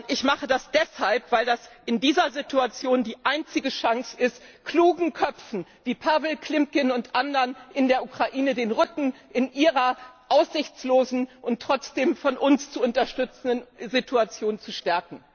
Ich mache das deshalb, weil das in dieser Situation die einzige Chance ist, klugen Köpfen wie Pawlo Klimkin und anderen in der Ukraine den Rücken in ihrer aussichtlosen und trotzdem von uns zu unterstützenden Situation zu stärken.